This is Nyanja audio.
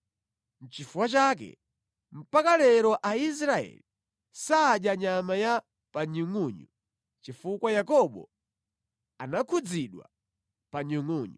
Nʼchifukwa chake mpaka lero Aisraeli sadya nyama ya pa nyungʼunyu chifukwa Yakobo anakhudzidwa pa nyungʼunyu.